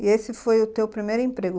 E esse foi o teu primeiro emprego?